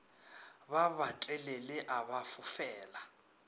ba batelele a ba fofela